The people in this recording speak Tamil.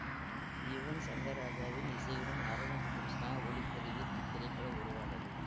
யுவன் ஷங்கர் ராஜாவின் இசையுடன் அரவிந்த் கிருஷ்ணா ஒளிப்பதிவில் இத்திரைப்படம் உருவானது